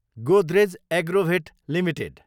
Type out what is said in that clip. Godrej Agrovet Ltd